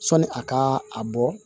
Sɔni a ka a bɔ